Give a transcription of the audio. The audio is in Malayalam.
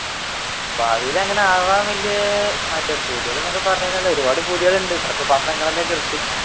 ഭാവിയിൽ അങ്ങനെ അങ്ങനെ വലിയ മറ്റേ പൂതികൾ എന്നൊക്കെ പറഞ്ഞു കഴിഞ്ഞ ഒരുപാട് പൂതികളുണ്ട് ചിലപ്പോ പറഞ്ഞു കഴിഞ്ഞ